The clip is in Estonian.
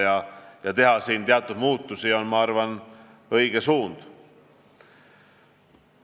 Teha selles töös teatud muudatusi on, ma arvan, õige suund.